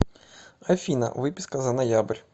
афина выписка за ноябрь